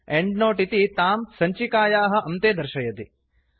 endnote इति तां सञ्चिकायाः अन्ते दर्शयति